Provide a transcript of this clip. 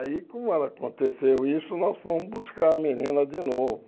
Aí, como ela aconteceu isso, nós fomos buscar a menina de novo.